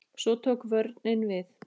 Svo tók vörnin við.